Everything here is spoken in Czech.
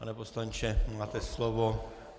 Pane poslanče, máte slovo.